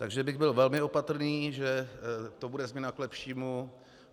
Takže bych byl velmi opatrný, že to bude změna k lepšímu.